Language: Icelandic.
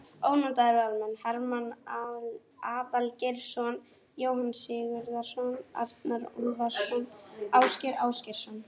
Ónotaðir varamenn: Hermann Aðalgeirsson, Jóhann Sigurðsson, Arnar Úlfarsson, Ásgeir Ásgeirsson.